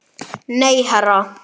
Óþarfi, sagði hann.